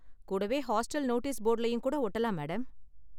கூடவே hostel notice போர்டுலயும் கூட ஒட்டலாம், மேடம்.